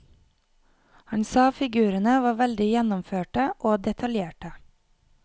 Han sa figurene var veldig gjennomførte og detaljerte.